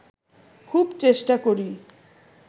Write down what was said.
খুব চেষ্টা করি